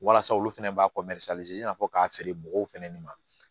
Walasa olu fɛnɛ b'a i n'a fɔ k'a feere mɔgɔw fɛnɛ ni ma